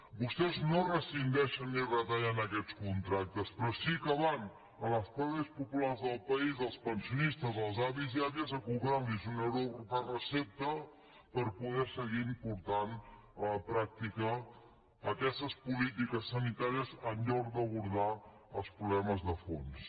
vostès no rescindeixen ni retallen aquests contractes però sí que van a les classes populars del país als pensionistes als avis i àvies a cobrar los un euro per recepta per poder seguir portant a la pràctica aquestes polítiques sanitàries en lloc d’abordar els problemes de fons